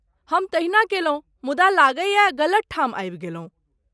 हम तहिना कयलहुँ, मुदा लगैए गलत ठाम आबि गेलहुँ।